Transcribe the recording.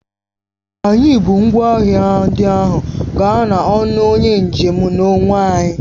Anyị bu ngwa ahịa ndị ahụ gaa n'ọnụ onye njem n'onwe anyị